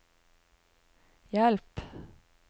hjelp